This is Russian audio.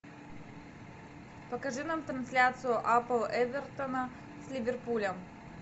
покажи нам трансляцию апл эвертона с ливерпулем